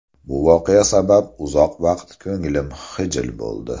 Bu voqea sabab uzoq vaqt ko‘nglim xijil bo‘ldi.